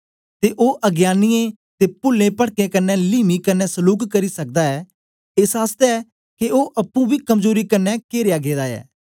ते ओ अज्ञानियें ते पुलें पटकें क्न्ने लीमी कन्ने सलूक करी सकदा ऐ एस आसतै के ओ अप्पुं बी कमजोरी क्न्ने केरया गेदा ऐ